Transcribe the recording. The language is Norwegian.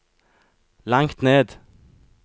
langt ned